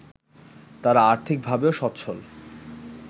তারা আর্থিকভাবেও স্বচ্ছল